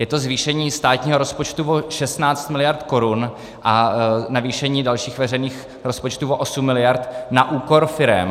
Je to zvýšení státního rozpočtu o 16 miliard korun a navýšení dalších veřejných rozpočtů o 8 miliard na úkor firem.